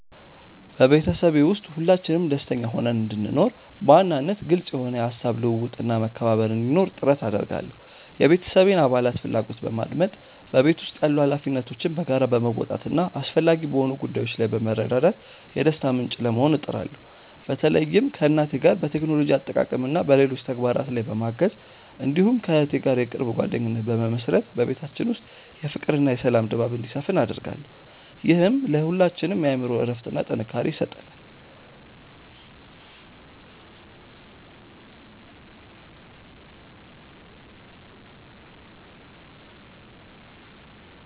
በቤተሰቤ ውስጥ ሁላችንም ደስተኛ ሆነን እንድንኖር፣ በዋናነት ግልጽ የሆነ የሐሳብ ልውውጥና መከባበር እንዲኖር ጥረት አደርጋለሁ። የቤተሰቤን አባላት ፍላጎት በማድመጥ፣ በቤት ውስጥ ያሉ ኃላፊነቶችን በጋራ በመወጣትና አስፈላጊ በሆኑ ጉዳዮች ላይ በመረዳዳት የደስታ ምንጭ ለመሆን እጥራለሁ። በተለይም ከእናቴ ጋር በቴክኖሎጂ አጠቃቀምና በሌሎች ተግባራት ላይ በማገዝ፣ እንዲሁም ከእህቴ ጋር የቅርብ ጓደኝነት በመመሥረት በቤታችን ውስጥ የፍቅርና የሰላም ድባብ እንዲሰፍን አደርጋለሁ። ይህም ለሁላችንም የአእምሮ እረፍትና ጥንካሬ ይሰጠናል።